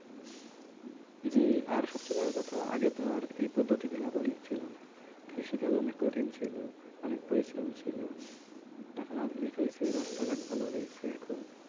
জি আর সবচাইতে বড় কথা আগে তো আর এই পদ্ধতিগুলো আধুনিক ছিল না। কৃষিকাজ অনেক কঠিন ছিল অনেক পরিশ্রম ছিল এখন আধুনিক হয়েছে রাস্তাঘাট ভালো হইছে এখন ।